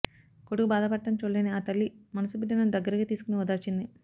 కొడుకు బాధ పడటం చూడలేని ఆ తల్లి మనసు బిడ్డను దగ్గరకి తీసుకొని ఓదార్చింది